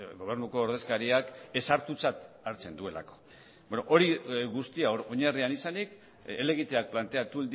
gobernuko ordezkariak ez hartutzat hartzen duelako beno hori guztia oinarrian izanik helegiteak planteatu